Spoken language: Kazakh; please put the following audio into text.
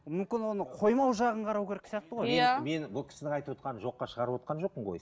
мүмкін оны қоймау жағын қарау керек сияқты ғой иә мен бұл кісінің айтывотқанын жоққа шығарывотқан жоқпын ғой